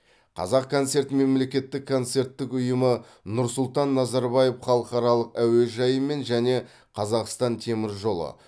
қазақконцерт мемлекеттік концерттік ұйымы нұрсұлтан назарбаев халықаралық әуежайымен және қазақстан темір жолы